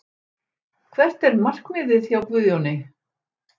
Hvert er markmiðið hjá Guðjóni?